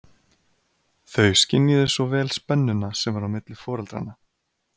Þau skynjuðu svo vel spennuna sem var á milli foreldranna.